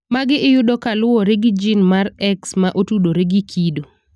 Magi iyudo ka kaluwore gi gin mar X ma otudore gi kido.